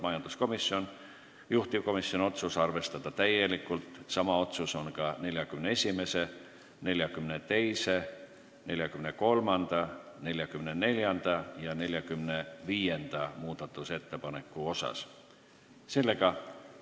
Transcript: Majanduskomisjon on esitanud ka 41., 42., 43., 44., 45. muudatusettepaneku, juhtivkomisjoni otsus: arvestada täielikult.